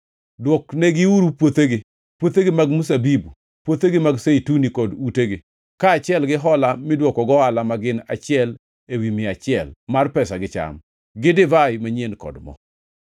Duoknegiuru puothegi, puothegi mag mzabibu, puothegi mag zeituni kod utegi, kaachiel gi hola midwoko gohala ma gin achiel ewi mia achiel mar pesa gi cham, gi divai manyien kod mo.”